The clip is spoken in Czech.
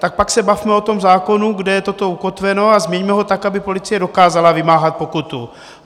Tak pak se bavme o tom zákonu, kde je toto ukotveno, a změňme ho tak, aby policie dokázala vymáhat pokutu.